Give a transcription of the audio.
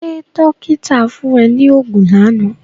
Ṣé dọ́kíta fún ẹ ní oògùn lánàá?